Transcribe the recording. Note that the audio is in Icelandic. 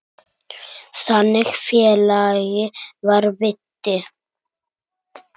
Þannig félagi var Viddi.